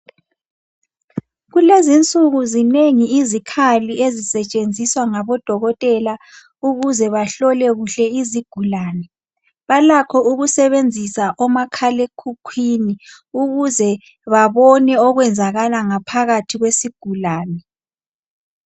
Kulezinsuku zinengi izikhali ezisetshenziswa ngabodokotela ukuze bahlole kuhle izigulane. Balakho ukusebenzisa omakhalekhukhwini ukuze babone okwenzakala ngaphakathi kwesigulane.